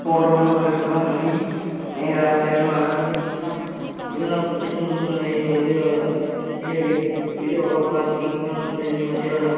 photo లో welcome అని రాశారు అలాగే చిన్న చిన్న ఉన్నాయి మరియు అలాగే ఇది ఒక పార్కింగ్ లా ఉన్నది మరియు అలా --